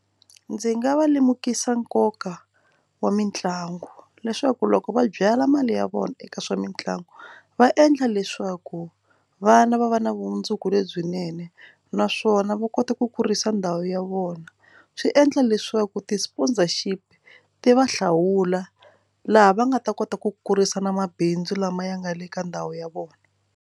Ndzi nga va lemukisa nkoka wa mitlangu leswaku loko va byala mali ya vona eka swa mitlangu va endla leswaku vana va va na vumundzuku lebyinene naswona va kota ku kurisa ndhawu ya vona swi endla leswaku ti sponsorship ti va hlawula laha va nga ta kota ku kurisa na mabindzu lama ya nga le ka ndhawu ya vona.